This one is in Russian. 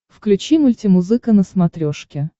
включи мультимузыка на смотрешке